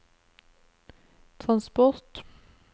transport